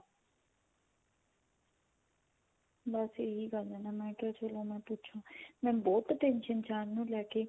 ਬੱਸ ਇਹੀ ਗੱਲ ਆ ਨਾ ਮੈਂ ਕਿਹਾ ਚਲੋ ਮੈਂ ਪੁੱਛਾ ਮੈਂ ਬਹੁਤ tension ਚ ਆ ਇਹਨਾ ਨੂੰ ਲੈ ਕੇ